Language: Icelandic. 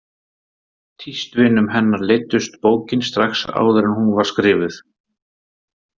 Tístvinum hennar leiddist bókin strax áður en hún var skrifuð.